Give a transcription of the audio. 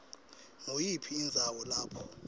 nguyiphi indzawo lapho